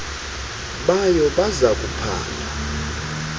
bayo baza kuphanda